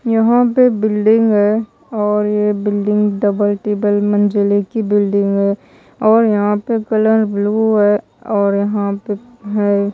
यहां पे बिल्डिंग है और ये बिल्डिंग डबल ट्रिपल मंजिले की बिल्डिंग है और यहां पे कलर ब्लू हैं और यहां पे है।